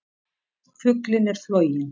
Fuglinn er floginn!